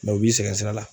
u b'i sɛgɛn sɔr'a la